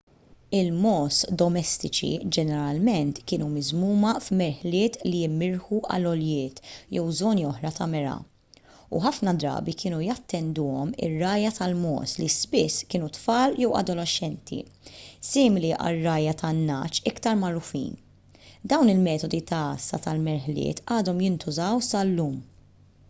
il-mogħoż domestiċi ġeneralment kienu miżmuma f'merħliet li jimirħu mal-għoljiet jew żoni oħra ta' mergħa u ħafna drabi kienu jattenduhom ir-rgħajja tal-mogħoż li spiss kienu tfal jew adolexxenti simili għar-rgħajja tan-ngħaġ iktar magħrufin dawn il-metodi ta' għassa tal-merħliet għadhom jintużaw sal-lum